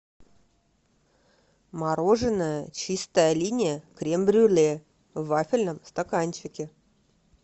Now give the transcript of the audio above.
мороженое чистая линия крем брюле в вафельном стаканчике